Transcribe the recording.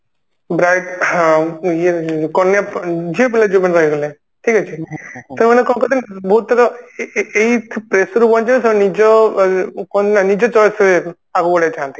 bride ଅ କନ୍ୟା ଅ ଝିଅ ପିଲା ଯୋଉ ମାନେ ରହିଗଲେ ଠିକ ଅଛି ସେମାନେ କଣ କରିଥାନ୍ତି ବହୁତ ଥର ଏ ଏ pressure ମଧ୍ୟରେ ସେମାନେ ନିଜ choice ରେ ଆଗକୁ ବଢି ଥାନ୍ତି